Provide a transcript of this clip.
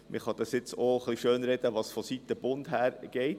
Man kann jetzt auch etwas schönreden, was vonseiten des Bundes her geht.